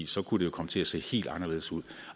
så kunne det komme til at se helt anderledes ud